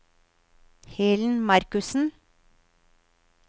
Helen Markussen